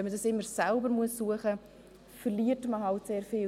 Wenn man das immer selber suchen muss, verliert man sehr viel.